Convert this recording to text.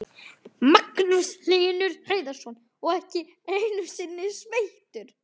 Magnús Hlynur Hreiðarsson: Og ekki einu sinni sveittur?